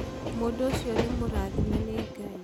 mũndũ ũcio nĩ mũrathime nĩ Ngai